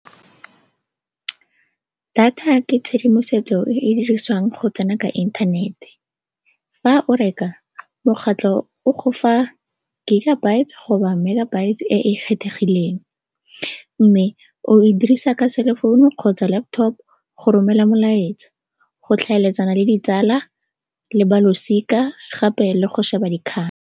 Data ke tshedimosetso e e dirisiwang go tsena ka inthanete. Fa o reka, mokgatlho o go fa gigabyte goba megabyte e e kgethegileng mme o e dirisa ka selefounu kgotsa laptop go romela molaetsa, go tlhaeletsana le ditsala le balosika, gape le go šeba dikgang.